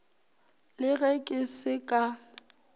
le ge ke se ka